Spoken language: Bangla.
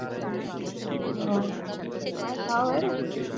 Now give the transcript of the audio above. ও মায়ের খাওয়া হয়ে গেছে?